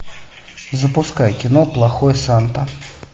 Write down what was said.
запускай кино плохой санта